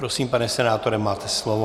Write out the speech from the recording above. Prosím, pane senátore, máte slovo.